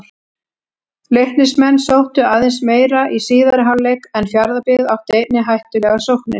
Leiknismenn sóttu aðeins meira í síðari hálfleik en Fjarðabyggð átti einnig hættulegar sóknir.